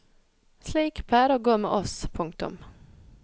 Slik pleier det å gå med oss. punktum